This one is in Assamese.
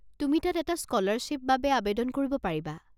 তুমি তাত এটা স্ক'লাৰশ্বিপ বাবে আৱেদন কৰিব পাৰিবা।